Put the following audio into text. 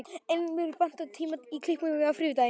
Elínbjört, pantaðu tíma í klippingu á þriðjudaginn.